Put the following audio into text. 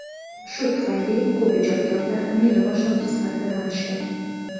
Shu tufayli ko‘p ijodkorlar meni boshlovchi sifatida tanishgan.